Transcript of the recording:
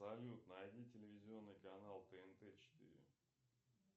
салют найди телевизионный канал тнт четыре